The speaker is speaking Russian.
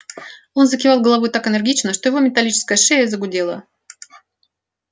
он закивал головой так энергично что его металлическая шея загудела